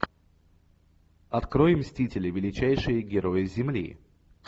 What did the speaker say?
открой мстители величайшие герои земли